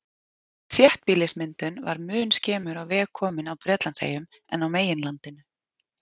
Þéttbýlismyndun var mun skemur á veg komin á Bretlandseyjum en á meginlandinu.